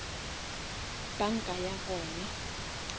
banka ya gona